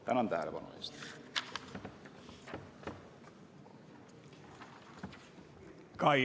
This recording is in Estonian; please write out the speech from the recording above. Tänan tähelepanu eest!